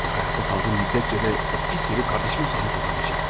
Və hayatta qaldığım müddətcə də o pis herif qardaşıma sahib ola bilməyəcək.